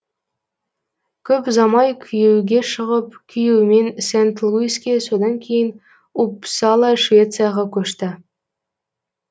көп ұзамай күйеуге шығып күйеуімен сент луиске содан кейін уппсала швецияға көшті